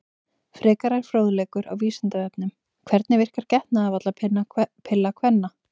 Frekari fróðleikur á Vísindavefnum: Hvernig verkar getnaðarvarnarpilla kvenna?